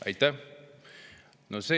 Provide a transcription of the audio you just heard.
Aitäh!